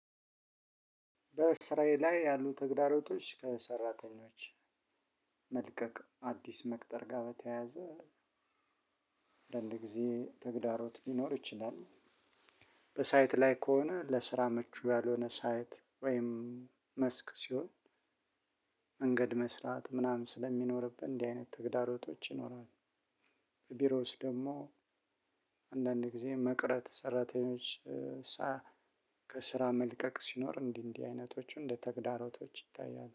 በስራዬ ላይ ያሉ ተግዳሮቶች ከሰራተኞች መልቀቅ አዲስ መቅጠር ጋር በተያያዘ አንዳንድ ጊዜ ተግዳሮት ሊኖር ይችላል። በሳይት ላይ ከሆነ ለስራ ምቹ ያልሆነ ሳይት ወይም መስክ ሲሆን መንገድ መስራት ምናምን ስለሚኖርብን እንዲህ አይነት ተግዳሮቶች ይኖራሉ። በቢሮ ውስጥ ደግሞ አንዳንድ ጊዜ መቅረት ሰራተኞች ከስራ መልቀቅ ሲኖር እንዲህ እንዲህ አይነቶቹ እንደ ተግዳሮቶች ይታያሉ።